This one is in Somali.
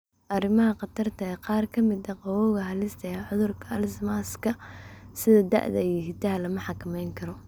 Arrimaha Khatarta ah Qaar ka mid ah qodobbada halista ah ee cudurka Alzheimers-ka , sida da'da iyo hiddaha, lama xakamayn karo.